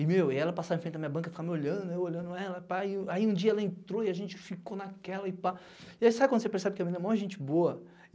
E, meu, e ela passava em frente da minha banca, ficava me olhando, eu olhando ela, pá, e aí aí um dia ela entrou e a gente ficou naquela e pá... E aí sabe quando você percebe que a menina é muito gente boa?